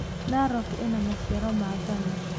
Narok ĩna maciaro ma ngano.